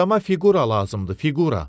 Adama fiqura lazımdı, fiqura.